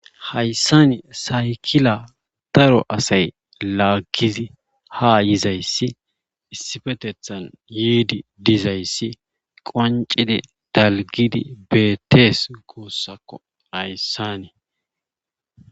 Hayssani saykila daro asay laagizi ha yizayssi issifetethan yiidi dizayssi qancide talgidi beetees goossakko hayssanii